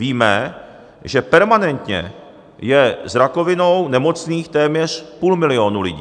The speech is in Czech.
Víme, že permanentně je s rakovinou nemocných téměř půl milionu lidí.